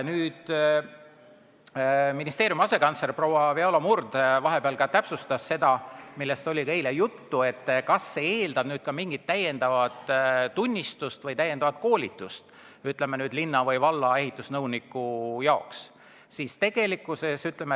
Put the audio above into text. Ministeeriumi asekantsler Viola Murd vahepeal täpsustas seda, millest oli ka eile juttu, et kas see eeldab ka mingit täiendavad tunnistust või täiendavat koolitust linna või valla ehitusnõunikule.